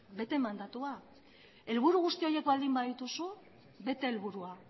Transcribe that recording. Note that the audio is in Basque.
bete mandatua helburu guzti horiek baldin badituzu bete helburua